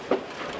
O qədər yox.